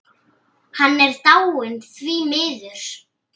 Hann er dáinn, því miður.